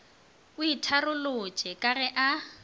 o itharolotše ka ge a